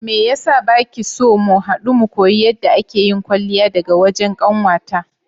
Meyasa bakiso mu hadu mu koyi yadda ake yin kwalliya daga wajen kanwata?